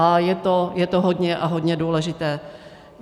A je to hodně a hodně důležité.